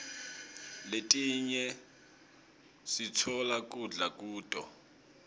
letinye sitfola kudla kuto